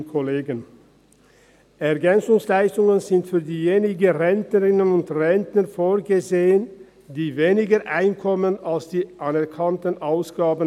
Ergänzungsleistungen (EL) sind für diejenigen Rentnerinnen und Rentner vorgesehen, welche weniger Einkommen haben als die anerkannten Ausgaben.